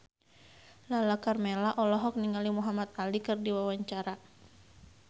Lala Karmela olohok ningali Muhamad Ali keur diwawancara